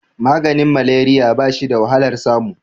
maganin malariya ba shi da wahalar samu